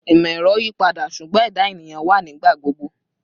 Imọ-ẹrọ yipada, ṣugbọn ẹda eniyan wa nigbagbogbo